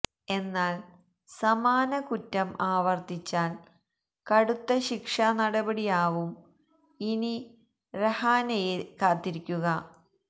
എന്നാൽ സമാന കുറ്റം ആവർത്തിച്ചാൽ കടുത്ത ശിക്ഷാ നടപടിയാവും ഇനി രഹാനെയെ കാത്തിരിക്കുക